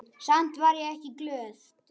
Samt var ég ekki glöð.